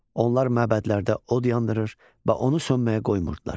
Onlar məbədlərdə od yandırır və onu sönməyə qoymurdular.